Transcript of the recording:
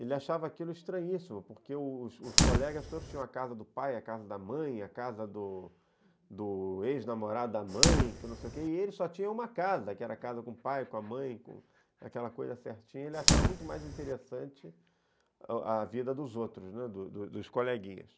ele achava aquilo estranhíssimo, porque os os colegas todos tinham a casa do pai, a casa da mãe, a casa do do ex-namorado da mãe, que não sei o que, e ele só tinha uma casa, que era a casa com o pai, com a mãe, aquela coisa certinha, ele achava muito mais interessante a vida dos outros, né, do do dos coleguinhas.